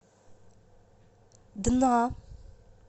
дна